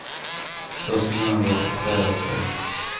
Första gången var för tre år sedan.